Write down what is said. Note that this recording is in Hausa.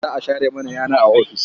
Za a share mana yana a ofis.